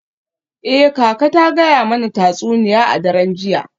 Eh, kaka ta gaya mana tatsuniya a daren jiya.